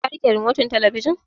Ka riƙe rimotin talabijin?